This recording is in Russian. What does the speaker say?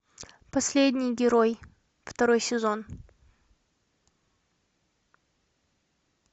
последний герой второй сезон